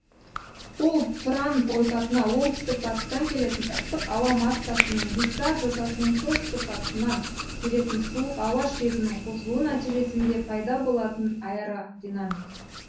ол тұран ойпатына оңтүстік батыстан келетін ыстық ауа массасы мен гиссар жотасының солтүстік батысынан келетін суық ауа шебінің қосылуы нәтижесінде пайда болатын аэродинамик